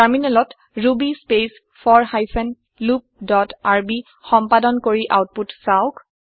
টাৰমিনেলত ruby space for hyphen loop dot RB সম্পাদন কৰি আওতপুত চাওঁক